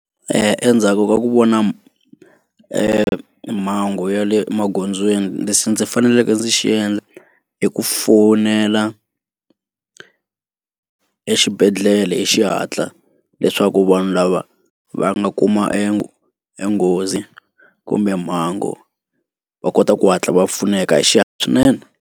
Endzhaku ka ku vona e mhangu ya le magondzweni lexi ndzi faneleke ndzi xi endla i ku fonela exibedhlele hi xihatla leswaku vanhu lava va nga kuma enghozi kumbe mhangu va kota ku hatla va pfuneka hi xihatla swinene.